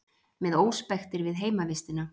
Með óspektir við heimavistina